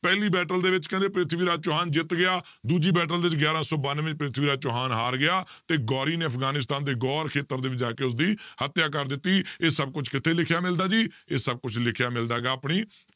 ਪਹਿਲੀ battle ਦੇ ਵਿੱਚ ਕਹਿੰਦੇ ਪ੍ਰਿਥਵੀ ਰਾਜ ਚੌਹਾਨ ਜਿੱਤ ਗਿਆ ਦੂਜੀ battle ਦੇ ਵਿੱਚ ਗਿਆਰਾਂ ਸੌ ਬਾਨਵੇਂ ਵਿੱਚ ਪ੍ਰਿਥਵੀ ਰਾਜ ਚੌਹਾਨ ਹਾਰ ਗਿਆ ਤੇ ਗੌਰੀ ਨੇ ਅਫਗਾਨੀਸਤਾਨ ਦੇ ਗੌਰ ਖੇਤਰ ਦੇ ਵਿੱਚ ਜਾ ਕੇ ਉਸਦੀ ਹੱਤਿਆ ਕਰ ਦਿੱਤੀ ਇਹ ਸਭ ਕੁਛ ਕਿੱਥੇ ਲਿਖਿਆ ਮਿਲਦਾ ਜੀ ਇਹ ਸਭ ਕੁਛ ਲਿਖਿਆ ਮਿਲਦਾ ਹੈਗਾ ਆਪਣੀ